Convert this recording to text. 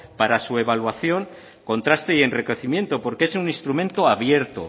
para su evaluación contraste y enriquecimiento porque es un instrumento abierto